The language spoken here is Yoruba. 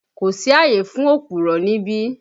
Kò sí àyè fún òpùrọ́ níbí!